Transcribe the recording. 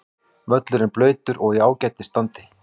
Völlurinn blautur og í ágætis standi.